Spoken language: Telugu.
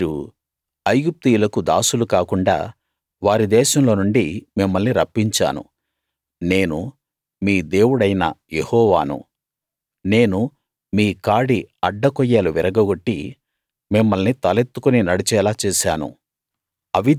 మీరు ఐగుప్తీయులకు దాసులు కాకుండ వారి దేశంలోనుండి మిమ్మల్ని రప్పించాను నేను మీ దేవుడైన యెహోవాను నేను మీ కాడి అడ్డకొయ్యలు విరగగొట్టి మిమ్మల్ని తలెత్తుకుని నడిచేలా చేశాను